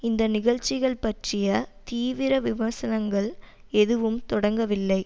இந்த நிகழ்ச்சிகள் பற்றிய தீவிர விமர்சனங்கள் எதுவும் தொடங்கவில்லை